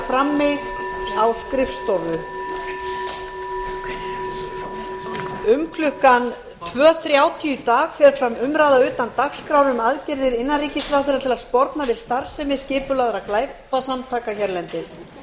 um klukkan hálfþrjú í dag fer fram umræða utan dagskrár um aðgerðir innanríkisráðherra til að sporna við starfsemi skipulagðra glæpasamtaka hérlendis